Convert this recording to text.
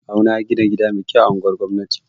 Kawu na ya gina gida mai kyau a anguwar gwamnati